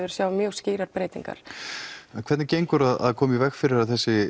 við sjáum mjög skýrar breytingar en hvernig gengur að koma í veg fyrir